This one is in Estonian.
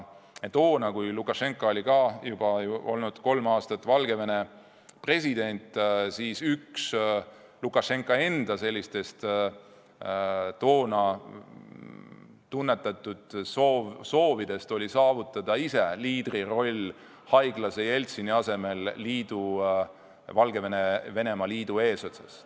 Toona, kui Lukašenka oli juba olnud kolm aastat Valgevene president, oli üks tema soovidest haiglase Jeltsini asemel ise Valgevene-Venemaa liidu eesotsa asuda.